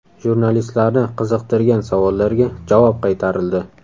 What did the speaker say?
Jurnalistlarni qiziqtirgan savollarga javob qaytarildi.